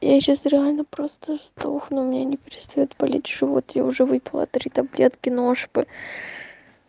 я сейчас реально просто сдохну у меня не перестаёт болеть живот я уже выпила три таблетки но-шпы